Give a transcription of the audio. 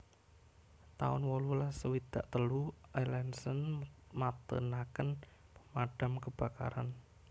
taun wolulas swidak telu Alanson matènaken pemadam kebakaran